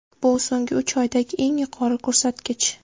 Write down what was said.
Bu so‘nggi uch oydagi eng yuqori ko‘rsatkich.